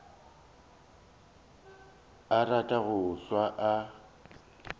a rata go hlwa a